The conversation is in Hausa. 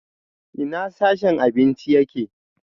Ina sashen abinci yake?